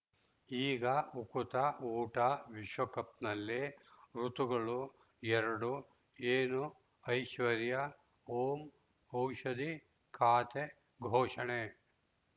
ಈಗ ಉಕುತ ಊಟ ವಿಶ್ವಕಪ್‌ನಲ್ಲಿ ಋತುಗಳು ಎರಡು ಏನು ಐಶ್ವರ್ಯಾ ಓಂ ಔಷಧಿ ಖಾತೆ ಘೋಷಣೆ